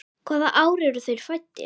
Hvaða ár eru þeir fæddir?